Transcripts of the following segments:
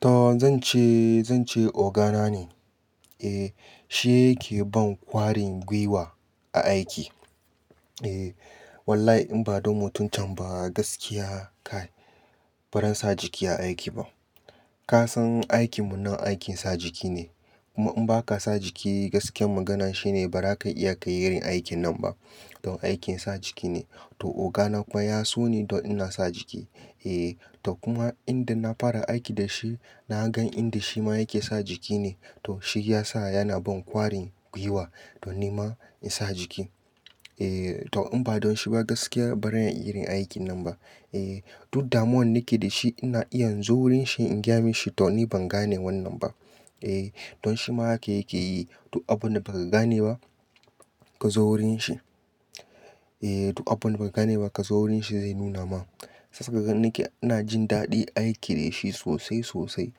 To zan ce, zan ce ogana ne. Eh, shi yake ban kwarin gwiwa a aiki. Eh, wallahi in ba don mutuncan ba gaskiya kai, ba ran sa jiki a aiki ba. Ka san aikinmu nan aikin sa jiki ne. Kuma in ba ka sa jiki gaskiyar magana shine ba ra ka iya kai irin aikin nan ba. Don aikin sa jiki ne. To ogana kuwa ya so ni don ina sa jiki. Eh, to kuma inda na fara aiki da shi, na gan inda shi ma yake sa jiki ne. To shi ya sa yana ban kwarin gwiwa don ni ma in sa jiki. Eh, to in ba don shi ba gaskiya ba ran iya irin aikin nan ba. Eh, duk damuwan nake da shi ina iya in zo wurin shi in gya mi shi to ni ban gane wannan ba. Eh, don shi ma yake yake yi. Duk abin da baka gane ba, kazo wurin shi. Eh, to abun da ba gane ba ka zo wurin shi zai nuna ma. Sassaƙaƙa nake ina jin daɗin aiki da shi sosai, sosai.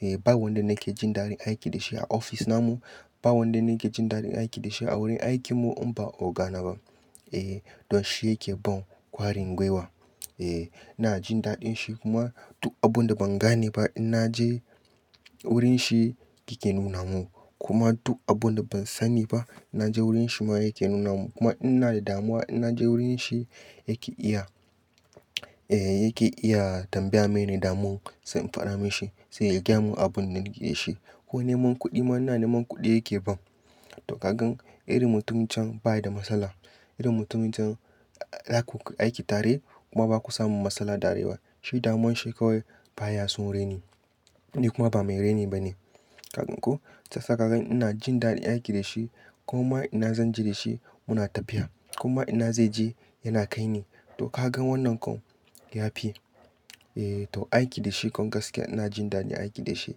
Eh, ba wanda nake jin daɗin aiki da shi a ofis na mu, ba wanda nake jin daɗin aiki da shi a wurin aikin mu in ba ogana ba. Eh, don shi yake ban kwarin gwiwa. Eh, ina jin daɗin shi kuma duk abun da ban gane ba in na je wurin shi yake nuna mun. Kuma duk abun da ban sani ba, na je wurin shi ma yake nuna mun. Kuma ina da damuwa ina je wurin shi yake iya, eh yake iya tambaya mene damun sai in faɗa mi shi sai ya gyama abun nake da shi. Ko neman kuɗi ma ina neman kuɗi yake ban. To ka gan iri mutuncan baya da matsala. Irin mutuncan zaku aiki tare kuma baku samu matsala tare ba. Shi damuwan shi kawai baya son reni. Ni kuma ba mai reni ba ne. Ka gan ko? Sassaƙaƙa ina jin daɗin aiki da shi. Kuma ina zan je da shi muna tafiya. Kuma ina zai je yana kai ni. To ka gan wannan kan yafi. Eh, to aiki da shi kuma gaskiya ina jin daɗin aiki da shi.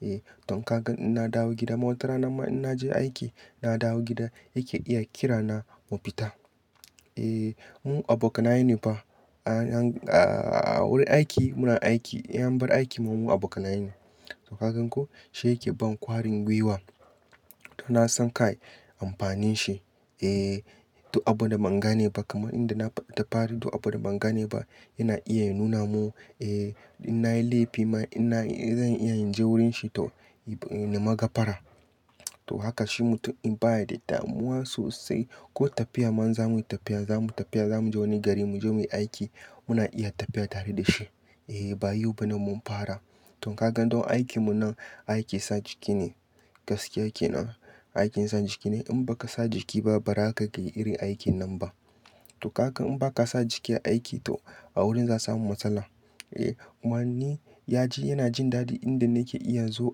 Eh, to ka gan ina dawo gida ma watarana ma ina je aiki ina dawo gida yake iya kira na mu fita. Eh, mu abokanai ne fa a han, a, a wurin aiki muna aiki. In an bar aiki mu abokanai ne. To ka gan ko? Shi yake ban kwarin gwiwa. To na san kai amfanin shi. Eh, to abun da ban gane ba kamar inda na f-tafari to abun da ban gane ba yana iya ya nuna mun. Eh, ina yi laifi ma ina, zan iya in je wurin shi to ni ma ga fara. To haka shi mutum in baya da damuwa sosai ko tafiya man zamuyi tafiya, zamu tafiya zamu je wani gari mu je muyi aiki muna iya tafiya tare da shi. Eh, ba yo ba nan mun fara. To ka gan don aikin mu nan aiki sa jiki ne. Gaskiya kenan aikin sa jiki ne. In baka sa jiki ba ba ra ka iya aikin nan ba. To ka gan in ba ka sa jiki a aiki to a wurin za samu matsala. Eh, kuma ni ya ji yana jin daɗi inda nake iya in zo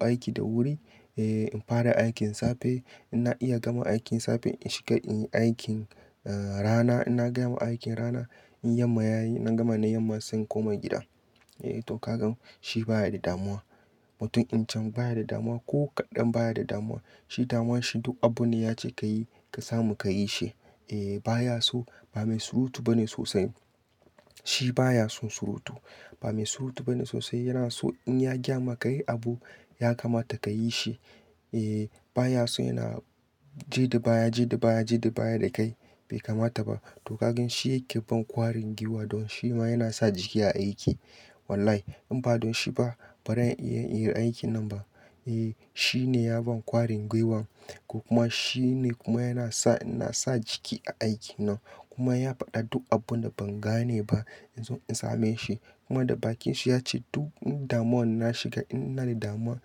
aiki da wuri. Eh, in fara aikin safe ina iya gama aikin safe in shiga inyi aikin, eh rana ina gama aikin rana. In yamma yayi na gama na yamma sai in koma gida. Eh to ka gan shi baya da damuwa mutuncan baya da damuwa ko kadan baya da damuwa. Shi damuwa shi duk abun da ya ce ka yi ka samu ka yi shi. Eh, baya so ba mai surutu ba ne sosai. Shi baya son surutu. Ba mai surutu ba ne sosai. Yana so in ya gaya maka yi abu ya kamata ka yi shi. Eh, ba ya so yana jeda baya jeda baya dakai, be kamata ba. To ka gan shi yake ban kwarin gwiwa don shi ma yana sa jiki a aiki. Wallahi in ba don shi ba ba ran iya yin aikin nan ba. Eh, shi ne ya ban kwarin gwiwan. Kuma shi ne kuma yana sa, ina sa jiki a aiki nan. Kuma ya faɗa duk abun da ban gane ba in zo in same shi. Kuma da bakin shi ya ce duk damuwan na shiga in na da damuwa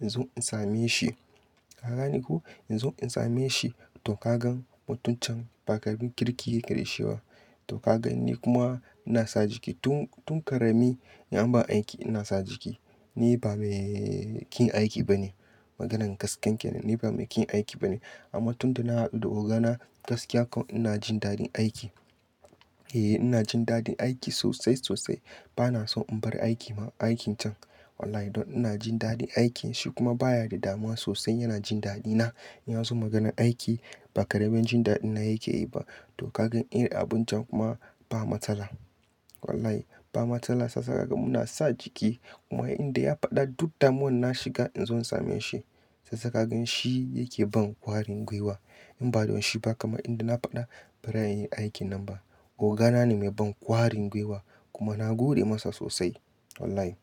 in zo in same shi. Ka gane ko. In zo in same shi. To ka gan mutuncan ba ƙaramin kirki yake kirishewa. To ka gan ni kuma ina sa jiki tun, tun ƙarami in an ban aiki ina sa jiki. Ni ba mai ƙin aiki ba ne. Maganan gasken kenan ni ba mai ƙin aiki ba ne. Amma tun da na haɗu da ogana gaskiya kan ina jin daɗin aiki. Eh, ina jin daɗin aiki sosai, sosai. Ba na son in bar aiki ma, aikican. Wallahi don ina jin daɗin aikin. Shi kuma baya da damuwa sosai yana jin daɗina. Ya zo maganan aiki ba ƙaramin jin daɗina yake yi ba. To ka gan irin abun can kuma ba matsala. Wallahi ba matsala. Sassaƙaƙa muna sa jiki kuma inda ya faɗa duk damuwan na shiga in zo in same shi. Sassaƙaƙa shi yake ban kwarin gwiwa. In ba don shi ba kamar inda na faɗa ba ran iya yin aikin nan ba. Ogana ne mai ban kwarin gwiwa kuma na gode masa sosai. Wallahi.